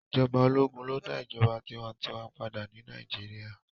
Ijọba ologun lo da ijọba tiwantiwa pada ni Naijiria